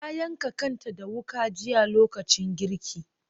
Ta yanka kanta da wuka jiya lokacin girki.